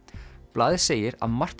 blaðið segir að margt